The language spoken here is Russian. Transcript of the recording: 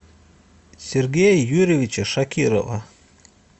сергея юрьевича шакирова